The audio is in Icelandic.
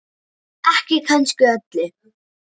Ekki kannski öllu.